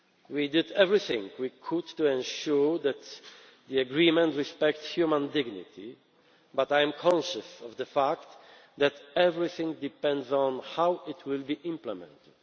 We did everything we could to ensure that the agreement respects human dignity, but I am conscious of the fact that everything depends on how it will be implemented.